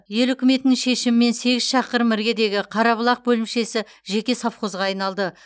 ел үкіметінің шешімімен сегіз шақырым іргедегі қарабұлақ бөлімшесі жеке совхозға айналды